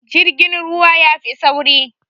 Jirgin ruwa yafi sauri